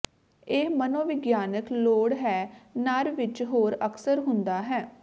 ਇਹ ਮਨੋਵਿਗਿਆਨਕ ਲੋੜ ਹੈ ਨਰ ਵਿੱਚ ਹੋਰ ਅਕਸਰ ਹੁੰਦਾ ਹੈ